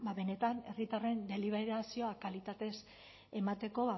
ba benetan herritarren deliberazioa kalitatez emateko